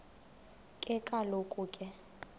ke kaloku ke